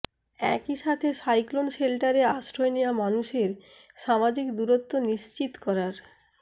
একই সাথে সাইক্লোন শেল্টারে আশ্রয় নেওয়া মানুষের সামাজিক দূরত্ব নিশ্চিত করার